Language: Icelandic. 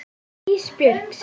Ísbjörg sitt.